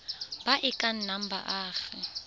ba e ka nnang baagi